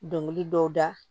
Dɔnkili dɔw da